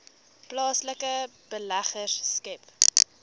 plaaslike beleggers skep